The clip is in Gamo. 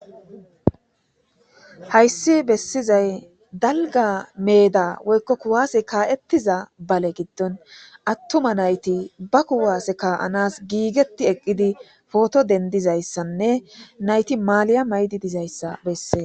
Hayssi bessizay dalga meeda woykko kuwaase kaa7ettiza bale giddon attuma nayti ba kuwaase ka7anas giigeti eqqidi pooto dendizayssanne nayti maaliy7a maydi dizayssa bessee.